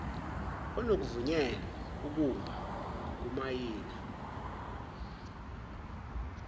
onokuvunyelwa ukumba ngokumayina